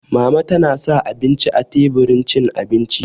Mama ta sa abinci a teburin cin abinci